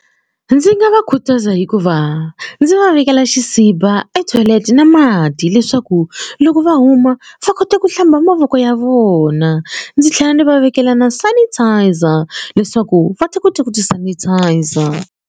Ndzi nga va khutaza hikuva ndzi va vekela xisibi etoilet na mati leswaku loko va huma va kota ku hlamba mavoko ya vona ndzi tlhela ndzi va vekela na sanitiser leswaku va ta kota ku ti sanitiser.